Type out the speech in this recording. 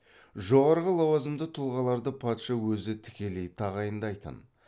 жоғарғы лауазымды тұлғаларды патша өзі тікелей тағайындайтын